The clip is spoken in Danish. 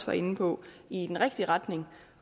var inde på i den rigtige retning